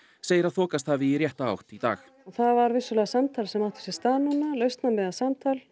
segir að þokast hafi í rétta átt í dag það var vissulega samtal sem átti sér stað núna lausnamiðað samtal